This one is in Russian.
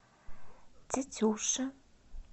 тетюши